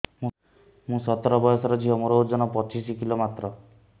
ମୁଁ ସତର ବୟସର ଝିଅ ମୋର ଓଜନ ପଚିଶି କିଲୋ ମାତ୍ର